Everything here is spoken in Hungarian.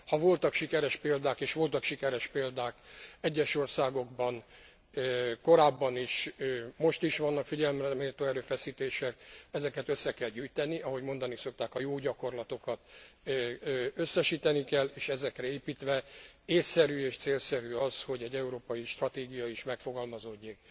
Ha voltak sikeres példák és voltak sikeres példák egyes országokban korábban is, most is vannak figyelemre méltó erőfeszítések ezeket össze kell gyűjteni, ahogy mondani szokták, a jó gyakorlatokat összesíteni kell, és ezekre építve ésszerű és célszerű az, hogy egy európai stratégia is megfogalmazódjék.